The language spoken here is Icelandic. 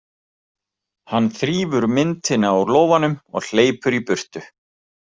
Hann þrífur myntina úr lófanum og hleypur í burtu.